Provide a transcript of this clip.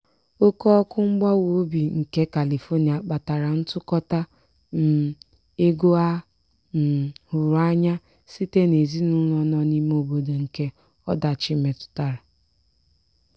oke ọkụ mgbawa obi nke califonia kpatara ntụkọta um ego a um hụrụ anya site n'ezinụlọ nọ n'lme obodo nke ọdachi metụtara.